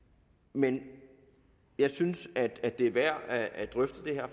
men jeg synes at det er værd at drøfte det her